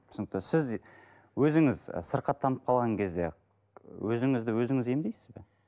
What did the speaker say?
түсінікті сіз өзіңіз і сырқаттанып қалған кезде өзіңізді өзіңіз емдейсіз бе